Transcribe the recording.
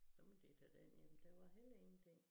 Så måtte de tage den ind der var heller ingen ting